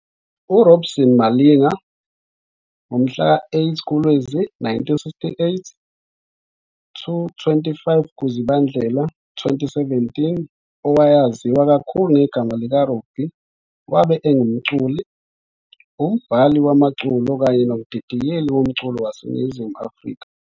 URobinson Malinga, ngomhla ka-08 kuLwezi 1968 to 25 kuZibandlela 2017, owayaziwa kakhulu ngegama lika Robbie wabe engumculi, umbhali wamaculo kanye nomdidiyeli womculo waseNingizimu Afrika.